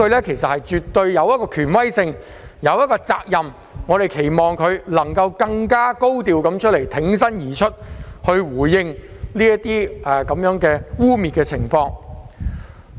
她絕對有其權威和責任作出回應，所以我們期望她能更高調地挺身而出，回應這些污衊。